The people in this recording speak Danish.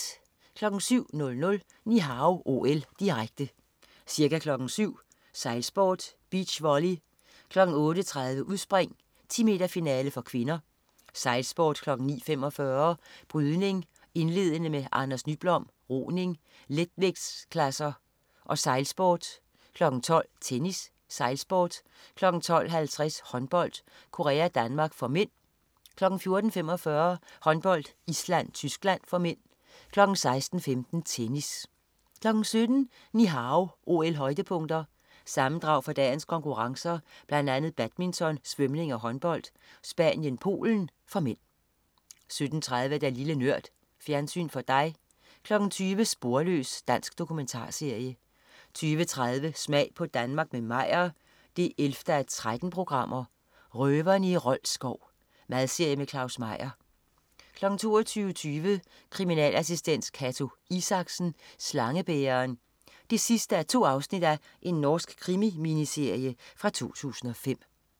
07.00 Ni Hao OL, direkte. Ca. kl. 07.00: Sejlsport, beach volley, kl. 08.30: Udspring, 10 meter-finale (k), sejlsport, kl. 09.45: Brydning, indledende med Anders Nyblom, roning, letvægtsklasser og sejlsport, kl. 12.00: Tennis, sejlsport, kl. 12.50: Håndbold, Korea-Danmark (m), kl. 14.45: Håndbold: Island-Tyskland (m), kl. 16.15: Tennis 17.00 Ni Hao OL-højdepunkter. Sammendrag fra dagens konkurrencer, blandt andet badminton, svømning og håndbold: Spanien-Polen (m) 17.30 Lille Nørd. Fjernsyn for dig 20.00 Sporløs. Dansk dokumentarserie 20.30 Smag på Danmark med Meyer 11:13. "Røverne i Rold skov". Madserie med Claus Meyer 22.20 Kriminalassistent Cato Isaksen: Slangebæreren 2:2. Norsk krimi-miniserie fra 2005